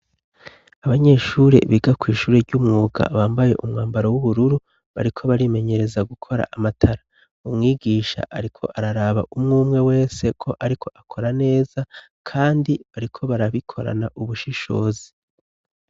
Abanyeshuri biga kw'ishuri ry'umwuga bambaye umwambaro w'ubururu bariko barimenyereza gukora amatara umwigisha, ariko araraba umwe umwe wese ko ariko akora neza, kandi bariko barabikorana ubushishozi.